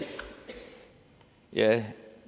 ja